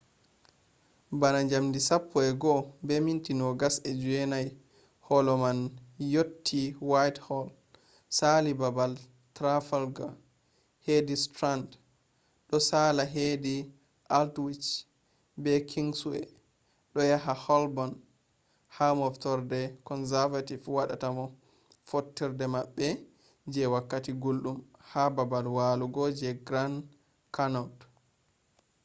bana jamdi 11:29 holo man yotti whitehall sali babal trafalgar hedi strand do sala hedi aldwych be kingsway do yaha holborn ha moftorde conservative wadata fottorde mabbe je wakkati guldum ha babal walugo je grand connaught